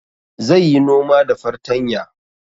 Zai yi noma da fartanya